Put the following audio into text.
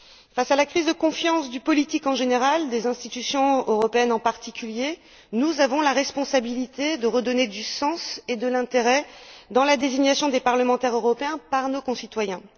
Face à la crise de confiance du politique, en général, des institutions européennes, en particulier, nous avons la responsabilité de redonner du sens et de l'intérêt à la désignation des parlementaires européens par nos concitoyens.